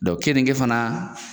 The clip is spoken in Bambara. keninge fana